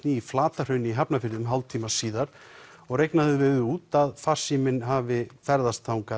í Flatahrauni í Hafnarfirði um hálftíma síðar og reiknað hefur verið út að farsíminn hafi ferðast